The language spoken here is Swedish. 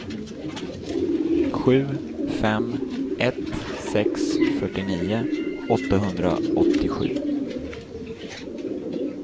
sju fem ett sex fyrtionio åttahundraåttiosju